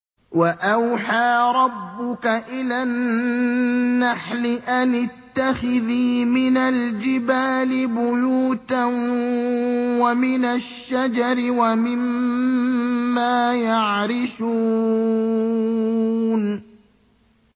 وَأَوْحَىٰ رَبُّكَ إِلَى النَّحْلِ أَنِ اتَّخِذِي مِنَ الْجِبَالِ بُيُوتًا وَمِنَ الشَّجَرِ وَمِمَّا يَعْرِشُونَ